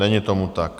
Není tomu tak.